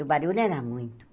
O barulho era muito.